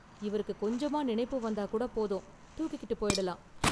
இவருக்கு கொஞ்சமா நினைப்பு வந்தா கூட போதும், தூக்கிக்கிட்டுப் போயிடலாம்.